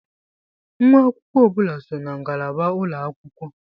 Nwa akwụkwọ ọ bụla so na ngalaba ulọ akwụkwọ.